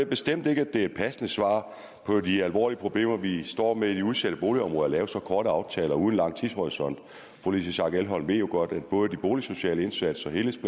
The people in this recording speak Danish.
bestemt ikke det er et passende svar på de alvorlige problemer vi står med i de udsatte boligområder at lave så korte aftaler uden lang tidshorisont fru louise schack elholm ved jo godt at både de boligsociale indsatser og helheds